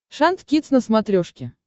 шант кидс на смотрешке